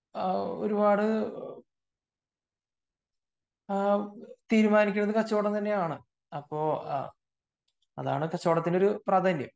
ആഹ് ഒരുപാട് തീരുമാനിക്കുന്നത് കച്ചവടം തന്നെയാണ് അതാണ് കച്ചവടത്തിൻറെ പ്രാധാന്യം